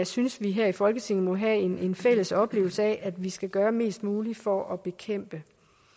synes vi her i folketinget må have en fælles oplevelse af at vi skal gøre mest muligt for at bekæmpe